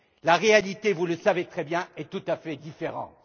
La réalité vous le savez très bien est tout à fait différente.